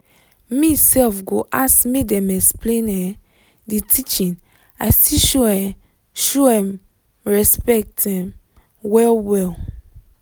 me self go ask make dem explain um the teaching i still show um show um respect um well well